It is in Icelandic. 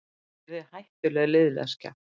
Hann yrði hættuleg liðleskja.